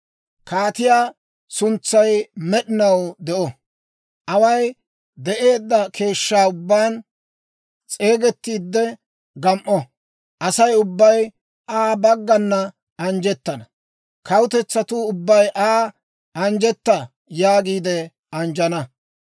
Kaatiyaa suntsay med'inaw de'o; away de'eedda keeshshaa ubbaan s'eegettiidde, gam"o. Asay ubbay Aa baggana anjjettana; kawutetsatuu ubbay Aa, «Anjjetta» yaagiide anjjana.